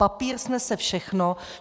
Papír snese všechno.